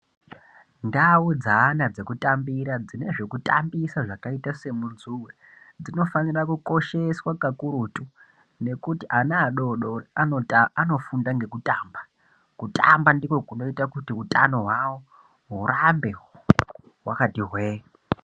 Ndau dzeana dzekutambira dzine zvekutambisa zvakaita semujuwe dzinofanira Kukosheswa kakurutu nekuti vana vadodori vanofunda nekutamba kutamba ndokunoita kuti Hutano hurambe hwakati hwe.